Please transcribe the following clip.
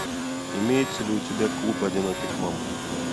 имеется ли у тебя клуб одиноких мам